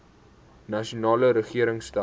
nasionale regering stel